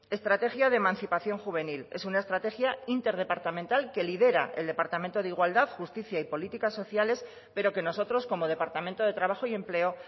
estrategia de emancipación juvenil es una estrategia interdepartamental que lidera el departamento de igualdad justicia y políticas sociales pero que nosotros como departamento de trabajo y empleo